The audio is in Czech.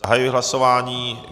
Zahajuji hlasování.